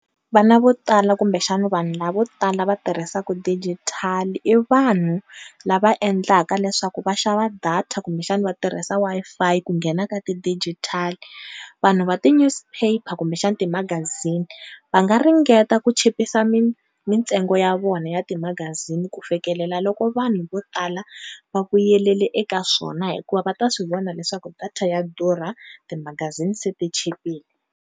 Vana vo tala kumbe xana vanhu lavo tala va tirhisaka digital i vanhu lava endlaka leswaku va xava data kumbe xana va tirhisa Wi-Fi ku nghena ka ti-digital vanhu va ti-newspaper kumbe xana timagazini va nga ringeta ku chipisa mintsengo ya vona ya timagazini ku fikelela loko vanhu vo tala va vuyelele eka swona hikuva va ta swi vona leswaku data ya durha ti magazini se ti chipile.